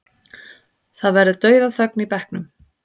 Það verður dauðaþögn í bekknum.